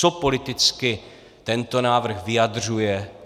Co politicky tento návrh vyjadřuje?